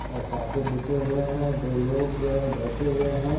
आ carpet बिछे हुए हैं। दो लोग बैठे हुए हैं।